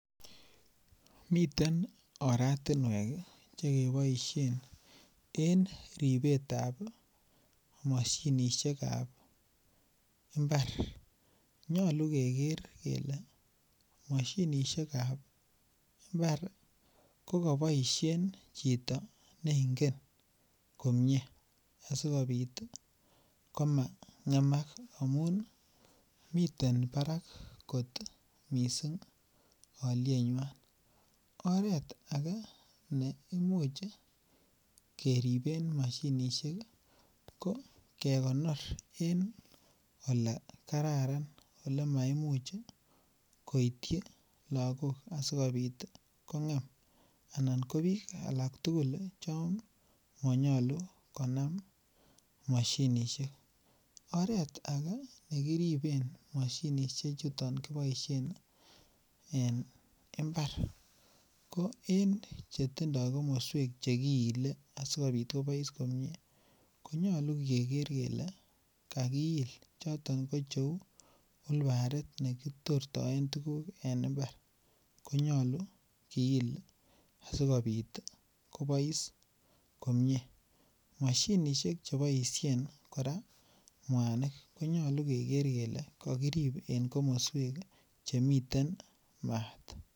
Miten oratuniek chekiboisien keribe mashinisiekab imbar nyolu keker kele mashinisiekab imbar ih kokaboisien chito neingen komie asikobit ih komangen amuun ih miten barak kot missing alietnyuan . Oret age neimuch keriben mashinisiek ih ko kekonori en olekararan . Ole maimuch koityi lakok asikobit ih kong'em anan ko bik alak tugul chon manyolu konam mashinisiek. Oret age nekiriben mashinisiek chuton kiboisien en imbar ih en chetindo komosuek chekiile asikobit kobaise komie konyalu keker kele kagiil choton cheuu ulbarit nekitoreten tuguk en imber konyalu kiil asikobit kobois komie. Moshinisiek chon kiboisien mwanik konyalu keker kele kakirib en kakmasuek chemi maat.